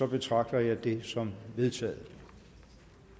betragter jeg det som vedtaget